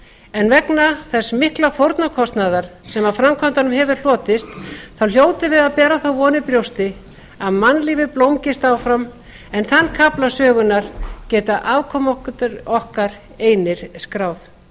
en vegna þess mikla fórnarkostnaðar sem af framkvæmdunum hefur hlotist hljótum við að bera þá von í brjósti að mannlífið blómgist áfram en þann kafla sögunnar geta afkomendur okkar einir skráð